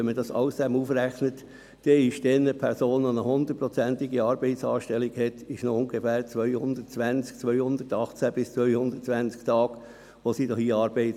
Wenn man das alles zusammenzählt, leistet eine Person, die eine hundertprozentige Anstellung hat, noch an ungefähr 218 bis 220 Tagen Arbeit.